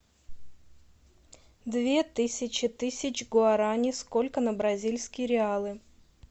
две тысячи тысяч гуарани сколько на бразильские реалы